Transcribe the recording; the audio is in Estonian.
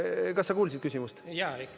Kas sa kuulsid küsimust?